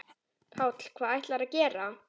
Páll: Hvað ætlarðu að gera?